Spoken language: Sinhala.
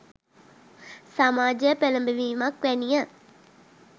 සමාජය පෙළැඹවීමක් වැනි ය.